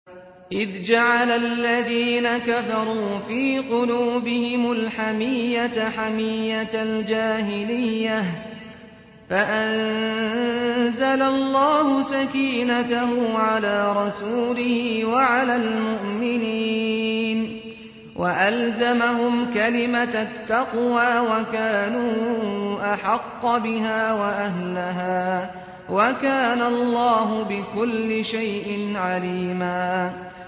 إِذْ جَعَلَ الَّذِينَ كَفَرُوا فِي قُلُوبِهِمُ الْحَمِيَّةَ حَمِيَّةَ الْجَاهِلِيَّةِ فَأَنزَلَ اللَّهُ سَكِينَتَهُ عَلَىٰ رَسُولِهِ وَعَلَى الْمُؤْمِنِينَ وَأَلْزَمَهُمْ كَلِمَةَ التَّقْوَىٰ وَكَانُوا أَحَقَّ بِهَا وَأَهْلَهَا ۚ وَكَانَ اللَّهُ بِكُلِّ شَيْءٍ عَلِيمًا